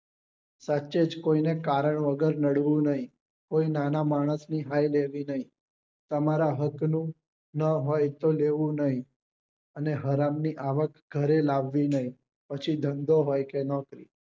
સાચેજ કોઈ ને કારણ વગર નડવું નહિ કોઈ નાના માણસ ની હાય લેવી નહિ તમારા હક ની ના હોઈ તો લેવું નહિ અને હરામ ની આવક ઘરે લાવવી નહિ પછી ધંધો હોઈ કે નોકરી